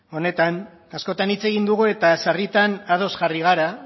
honetan askotan hitz egin dugu eta sarritan ados jarri gara